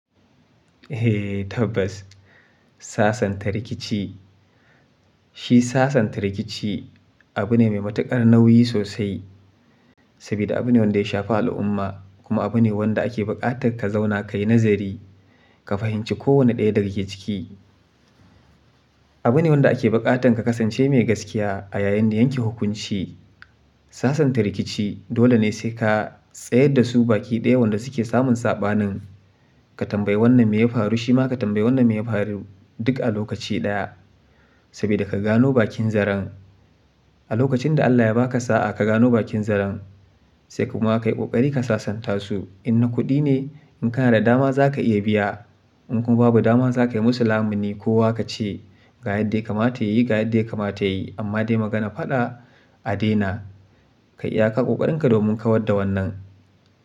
Eh tabbas sasanta rikici, shi sasanta rikici abu ne mai matukar nauyi sosai. Sabida abu ne wanda ya shafi al'umma kuma abu ne wanda ake bukatar ka zauna ka yi nazari, ka fahimci kowane ɗaya dake cikin. Abune wanda ake buƙatar ka kasance mai gaskiya a yayin da yanke hukunci. Sasanta rikici dole ne sai ka tsayar da su baƙi ɗaya wanda suke samun saɓanin. Ka tambayi wannan me ya faru, shima ka tambayi wannan me ya faru duk a lokaci ɗaya. Sabida ka gano bakin zaren. A lokacin da Allah ya ba ka sa'a ka gano bakin zaren, sai kuma ka yi kokari ka sasanta su. In na kuɗi ne, in kana da dama za ka iya biya. In kuma babu dama za ka yi musu lamuni ko wa ka ce, ga yadda ya kamata yayi ga yadda ya kamata yayi amma dai magana faɗa a daina. Ka yi iyaƙar kokarinka domin kawar da wannan.